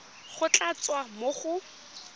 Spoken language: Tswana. go tla tswa mo go